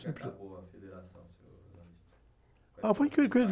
que acabou a federação, seu ?h, foi coisa...